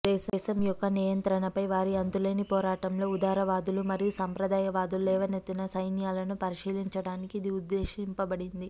దేశం యొక్క నియంత్రణపై వారి అంతులేని పోరాటంలో ఉదారవాదులు మరియు సంప్రదాయవాదులు లేవనెత్తిన సైన్యాలను పరిశీలించడానికి ఇది ఉద్దేశించబడింది